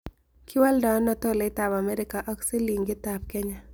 kiwoldo ano tolait ab America ak silingit ab Kenya